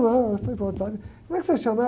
como é que você se chama?